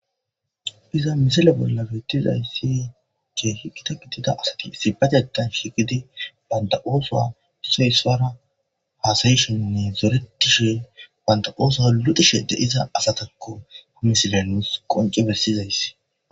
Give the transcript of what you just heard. iza misale bolla bettizayssi cee hi gita gidida asati sibatatan shigidi banda ooso doso hispara hasayishoninne zoretishe banda ooso ludushe de iza asatakko ha misileluus qonce bessizayssi